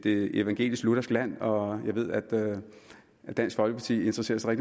evangelisk luthersk land og jeg ved at at dansk folkeparti interesserer sig